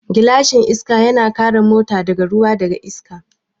Gilashin Iska yana kare mota daga ruwa da iska